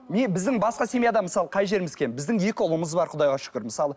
мен біздің басқа семьядан мысалы қай жеріміз кем біздің екі ұлымыз бар құдайға шүкір мысалы